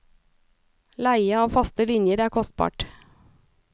Leie av faste linjer er kostbart.